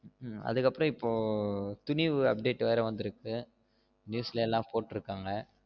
ஆதுக்கு அப்ரோ இப்ப துணிவு update வேற வந்திருக்கு news ல எல்லாம் போட்டுருகாங்க